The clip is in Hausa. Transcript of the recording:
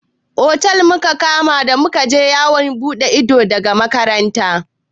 Otel muka kama da muka je yawon buɗe ido daga makaranta.